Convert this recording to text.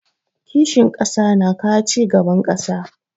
Kishin ƙasa na kawo cigaban ƙasa.